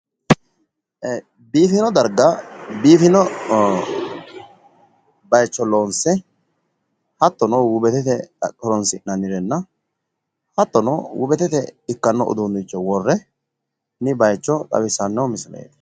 Biifino darga biifino bayiicho loonse hattono wubetete horonsinanirenna hattono wubetete ikkano uduunnicho worronni baayicho xawisanno misileeti.